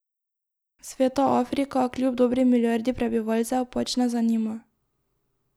Sveta Afrika, kljub dobri milijardi prebivalcev, pač ne zanima.